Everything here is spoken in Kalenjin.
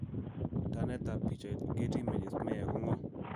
Tannetab pichait, Getty Images Meya ko ng'o?